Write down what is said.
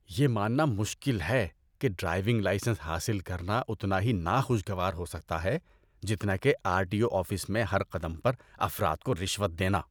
یہ ماننا مشکل ہے کہ ڈرائیونگ لائسنس حاصل کرنا اتنا ہی ناخوشگوار ہو سکتا ہے جتنا کہ آر ٹی او آفس میں ہر قدم پر افراد کو رشوت دینا۔